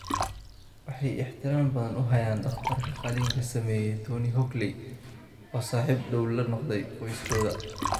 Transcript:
Waxay ixtiraam badan u hayaan dhakhtarka qalliinka sameeyay, Tony Hockley, oo saaxiib dhow la noqday qoyskooda.